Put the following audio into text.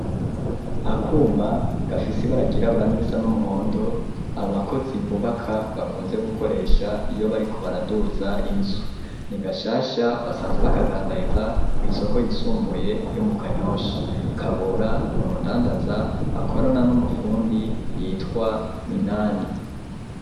Akuma gafisi bara ryirabura risa n'umuhondo, abakozi bubaka bakunze gukoresha iyo bariko baraduza inzu ,nigashasha basanzwe bakadandariza kw'isoko yisumbuye yo mu kanyosha, kabura numudandaza, akorana n'umufundi yitwa minani.